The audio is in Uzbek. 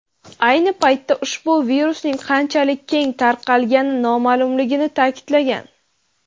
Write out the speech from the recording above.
ayni paytda ushbu virusning qanchalik keng tarqalgani noma’lumligini ta’kidlagan.